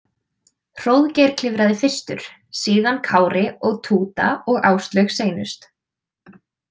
Hróðgeir klifraði fyrstur, síðan Kári og Túta og Áslaug seinust.